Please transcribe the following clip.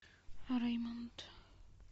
реймонд